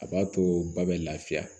A b'a to ba bɛ lafiya